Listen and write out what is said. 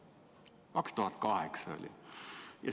See oli 2008.